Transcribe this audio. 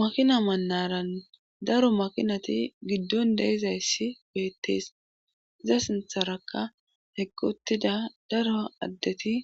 makina manaran daro makinati giddon deizayssi beettees za sintharakka hegguttida daro addeti